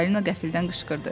Çippolino qəfildən qışqırdı.